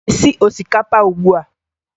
Ị na-esi osikapa ugbua?